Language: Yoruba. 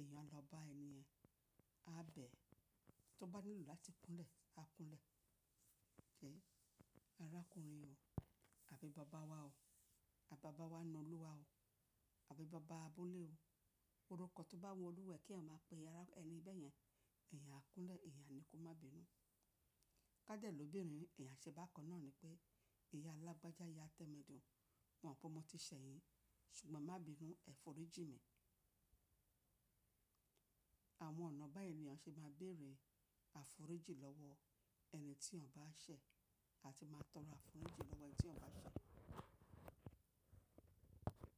èèyàn lọ bá ènìyàn, a bẹ̀ ẹ́, tó bá nílò láti kúnlẹ̀, a kúnlẹ̀. Arákùnrin o, àbí baba wa o, àbí baba wa nínú olúwa o, àbí baba abúlé o, orúkọ tó bá wọ̀ olúwẹ̀ẹ́ kí èèyàn máa pe ẹni bẹ́yẹn, èyàn á kúnlẹ̀, èyàn ni kó má bínú. Kádẹ̀ lọ́ bí rẹ̀ni, èyàn ṣe bá kaná ni pé ìyá alágbàjà, ìyá tẹ́mẹ́dùn, mo mọ̀ pé mo ti ṣẹ̀yìn, ṣùgbọ́n má bínú, ẹ̀ foríjì mí. Àwọn ọ̀nà bá yí la ṣe máa béèrè àforíjì lọ́wọ́ ẹni tí èèyàn bá ṣẹ̀ àti máa tọrọ àforíjì lọ́wọ́ ẹni tí èyàn bá ṣẹ̀.